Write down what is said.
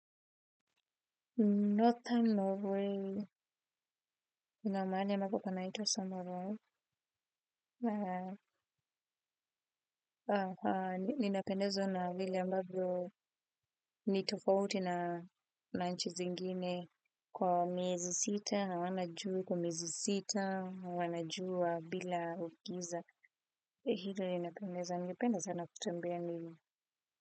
Nothern Norway ina mahali ambapo panaitwa samarua. Ninapendezwa na hili ambavyo, nitofauti na na nchi zingine kwa miezi sita, hawana jua kwa miezi sita, hawana jua bila giza. Hili ninapendezo. Ningependa sana kutembea Norway.